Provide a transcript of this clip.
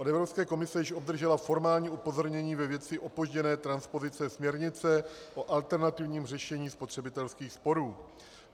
Od Evropské komise již obdržela formální upozornění ve věci opožděné transpozice směrnice o alternativním řešení spotřebitelských sporů.